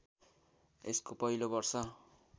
यसको पहिलो वर्ष